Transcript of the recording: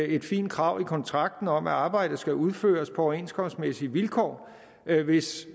et fint krav i kontrakten om at arbejdet skal udføres på overenskomstmæssige vilkår hvis